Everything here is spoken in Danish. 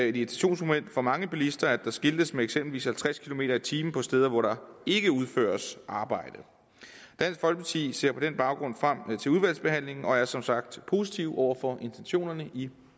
irritationsmoment for mange bilister at der skiltes med eksempelvis halvtreds kilometer per time på steder hvor der ikke udføres arbejde dansk folkeparti ser på den baggrund frem til udvalgsbehandlingen og er som sagt positive over for intentionerne i